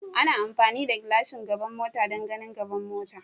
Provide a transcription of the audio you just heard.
Ana amfani da gashin gaban mota don ganin gaban mota.